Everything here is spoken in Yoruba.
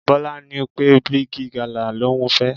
Bọ́lá ní pé Bigi gala l'ohun fẹ́.